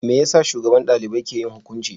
Me yasa shugaban dalibai ke yin hukunci?